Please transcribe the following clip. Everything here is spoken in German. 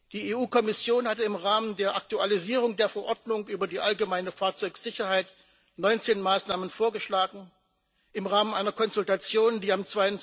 Die EU Kommission hat im Rahmen der Aktualisierung der Verordnung über die allgemeine Fahrzeugsicherheit 19 Maßnahmen vorgeschlagen. Im Rahmen einer Konsultation, die am